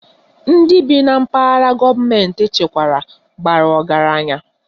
Ndị bi na mpaghara gọọmentị echekwara bara ọgaranya